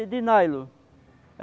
É de nylon.